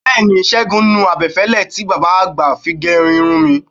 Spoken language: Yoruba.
Bẹẹni Ṣégun nu abẹ́fẹ́lẹ́ tí bàbá àgbà fi gé irun mi.